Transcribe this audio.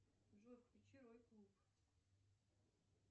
джой включи рой клуб